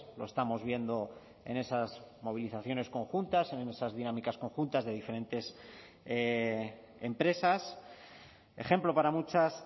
lo estamos viendo en esas movilizaciones conjuntas en esas dinámicas conjuntas de diferentes empresas ejemplo para muchas